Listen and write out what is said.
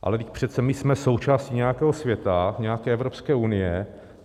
Ale vždyť přece my jsme součástí nějakého světa, nějaké Evropské unie.